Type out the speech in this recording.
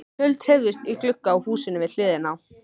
Tjöld hreyfðust í glugga á húsinu við hliðina.